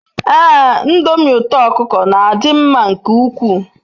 Ee ndomi uto okuko n'adi nma nke ukwu